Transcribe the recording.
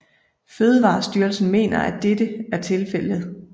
Fødevarestyrelsen mener ikke at dette er tilfældet